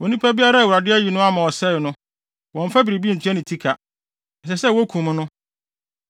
“ ‘Onipa biara a Awurade ayi no ama ɔsɛe no, wɔmmfa biribi ntua ne ti ka. Ɛsɛ sɛ wokum no.